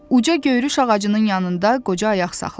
Uca göyrüş ağacının yanında qoca ayaq saxladı.